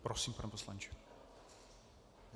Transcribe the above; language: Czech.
Prosím, pane poslanče.